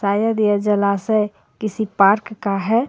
शायद यह जलाशय किसी पार्क का है.